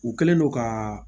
U kɛlen don ka